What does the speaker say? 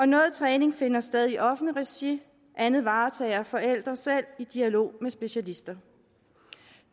noget træning finder sted i offentligt regi andet varetager forældre selv i dialog med specialister